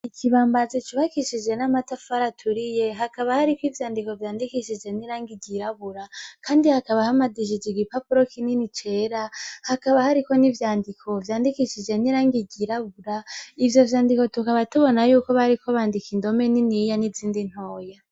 Ikibambazi cubakishije n'amatafari aturiye .Hakaba hariko ivyandiko vyandikishije n' irangi ryirabura ,kandi hakaba hamatishije igipapuro kinini cera . Hakaba hariko n' ivyandiko vyandikishije n'ibara ryirabura. Ivyo vyandiko tukaba tubona y'uko bariko bandika indome niniya n'izindi ntoya.